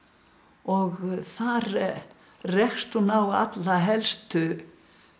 og þar rekst hún á alla helstu